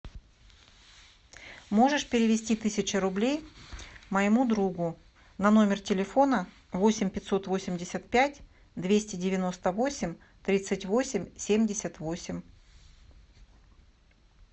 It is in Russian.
можешь перевести тысячу рублей моему другу на номер телефона восемь пятьсот восемьдесят пять двести девяносто восемь тридцать восемь семьдесят восемь